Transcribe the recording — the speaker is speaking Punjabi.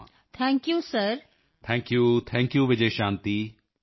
ਤੁਹਾਨੂੰ ਵਧਾਈ ਹੋਵੇ ਅਤੇ ਮੇਰੇ ਵੱਲੋਂ ਸ਼ੁਭਕਾਮਨਾਵਾਂ ਸੋ congratulations and wish you best luck